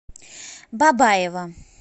бабаево